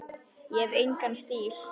Ég hef engan einn stíl.